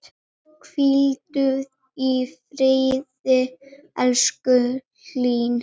Hvíldu í friði, elsku Elín.